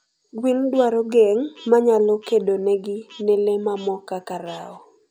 gwen dwaro geng manyalo kedonegi ne lee mamoo kaka rao